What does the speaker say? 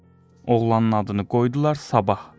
Oğlanın adını qoydular sabah.